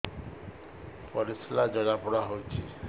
ପରିସ୍ରା ଜଳାପୋଡା ହଉଛି